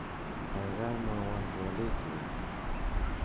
kwaigai mwowon twolikyuk